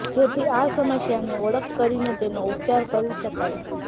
જેથી આ સમસ્યાની ઓળખ કરીને તેનો ઉપચાર કરી શકાય